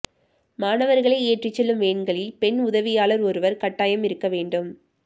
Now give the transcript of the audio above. மாணவர்களை ஏற்றிச் செல்லும் வேன்களில் பெண் உதவியாளர் ஒருவர் கட்டாயம் இருக்க வேண்டும்